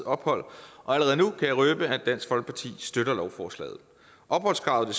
ophold og allerede nu kan jeg røbe at dansk folkeparti støtter lovforslaget opholdskravet